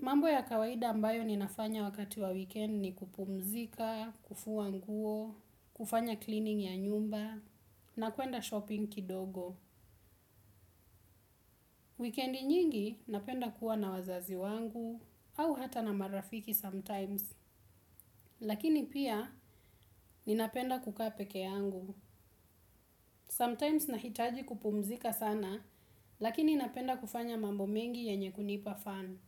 Mambo ya kawaida ambayo ninafanya wakati wa weekend ni kupumzika, kufua nguo, kufanya cleaning ya nyumba na kuenda shopping kidogo. Weekend nyingi napenda kuwa na wazazi wangu au hata na marafiki sometimes, lakini pia ninapenda kukaa pekee yangu. Sometimes nahitaji kupumzika sana, lakini napenda kufanya mambo mengi yenye kunipa fan.